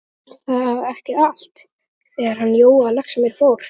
Fór þá ekki allt, þegar hann Jói á Laxamýri fór?